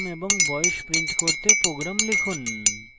name এবং বয়স print করতে program লিখুন